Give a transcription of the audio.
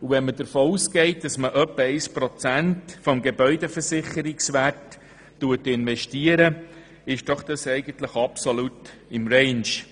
Wenn man davon ausgeht, dass etwa ein Prozent des Gebäudeversicherungswerts investiert wird, liegt der Rahmenkredit absolut im Range.